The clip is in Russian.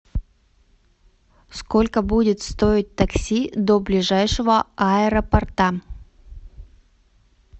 сколько будет стоить такси до ближайшего аэропорта